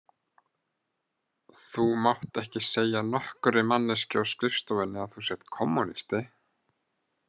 Þú mátt ekki segja nokkurri manneskju á skrifstofunni að þú sért kommúnisti